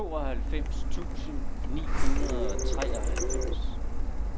tooghalvfems tusind ni hundrede og treoghalvfems